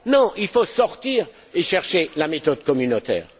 Non, il faut sortir et chercher la méthode communautaire.